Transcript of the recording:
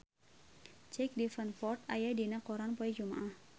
Jack Davenport aya dina koran poe Jumaah